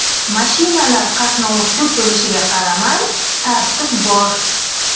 Mashinalar qatnovi ko‘p bo‘lishiga qaramay, tartib bor.